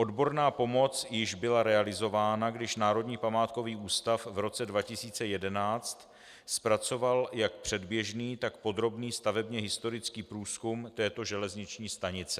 Odborná pomoc již byla realizována, když Národní památkový ústav v roce 2011 zpracoval jak předběžný, tak podrobný stavebně-historický průzkum této železniční stanice.